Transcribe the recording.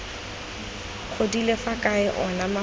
godile fa kae ona mafoko